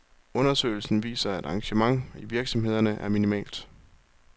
Undersøgelsen viser, at engagementet i virksomhederne er minimalt.